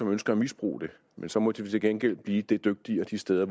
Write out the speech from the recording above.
ønsker at misbruge det men så må de til gengæld blive det dygtigere de steder